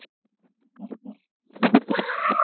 ALLIR: Já!